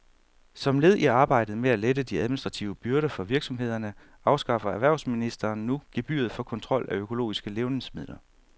Som led i arbejdet med at lette de administrative byrder for virksomhederne afskaffer erhvervsministeren nu gebyret for kontrol af økologiske levnedsmidler.